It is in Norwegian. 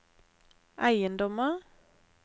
eiendommer